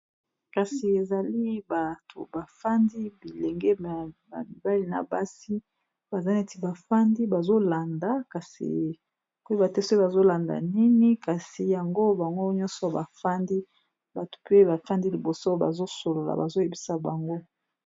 Kasi ezali bato bafandi bilenge ba mibali na basi baza neti bafandi bazolanda kasikoyeba te soki bazolanda nini kasi yango bango nyonso bafandi bato mpe bafandi liboso bazosolola bazoyebisa bango.